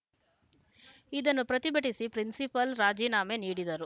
ಇದನ್ನು ಪ್ರತಿಭಟಿಸಿ ಪ್ರಿನ್ಸಿಪಾಲ್‌ ರಾಜೀನಾಮೆ ನೀಡಿದರು